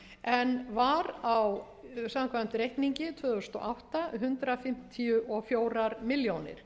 en var samkvæmt reikningi tvö þúsund og átta hundrað fimmtíu og fjórar milljónir